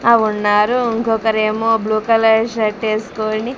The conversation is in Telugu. ఆహ్ ఉన్నారు ఇంకొకరు ఏమో బ్లూ కలర్ షర్ట్ వేసుకుని.